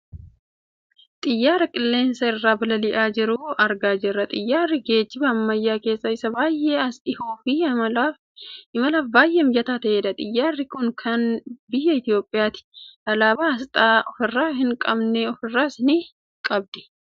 xiyyaara qilleensa irra balali'aa jiru argaa jirra. xiyyaarri geejjiba ammayyaa keessaa isa baayye as dhiyoo fi imalaaf baayyee mijataa ta'edha. xiyyaarri kun kan biyya Itoopiyaati. alaabaa aasxaa ofirraa hin qabne ofirraas ni qabdi.